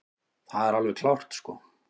Það er alveg klárt sko.